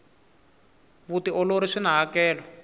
vutiolori swina hakelo